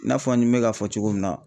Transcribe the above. I n'a fɔ ni me k'a fɔ cogo min na.